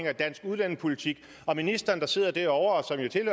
af dansk udlændingepolitik og ministeren der sidder derovre